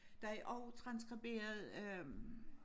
Der er også transskriberet øh